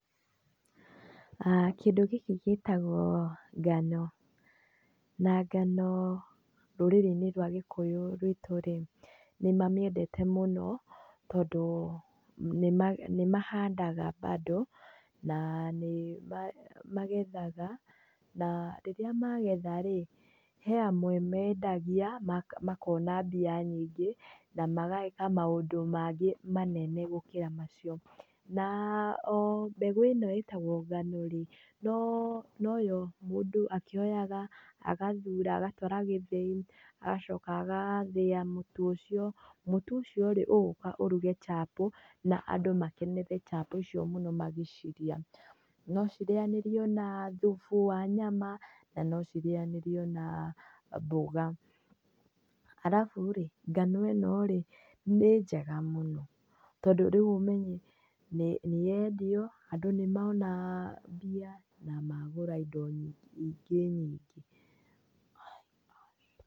Kĩndũ gĩkĩ gĩtagwo ngano, na ngano rũrĩrĩ-inĩ rwitũ rĩ nĩ mamĩendete mũno tondũ nĩ mahandaga bado na nĩmagethaga na rĩrĩa magetha rĩ, he amwe mendagia makona mbia nyingĩ na mageka maũndũ mangĩ manene gũkĩra macio. a o mbegũ ĩno ĩtagwo ngano rĩ noyo mũndũ akĩoyaga agathuraga agatũara gĩthĩi agacoka agathĩa mũtu ucio. Mũtu ũcio rĩ, ũgũka ũruge chapo na andũ makenere chapo icio mũno magĩcirĩa. No cirĩanĩrio na thubu wa nyama na no cirĩanĩrio na mboga. Arabu rĩ ngano ĩno rĩ nĩ njega mũno, tondũ rĩu ũmenye nĩ yendio, andũ nĩ mona mbia, na magũra indo nyingĩ nyingĩ.